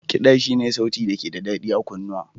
Kiɗa Shi ne sauti da ke da daɗi a kunnuwa.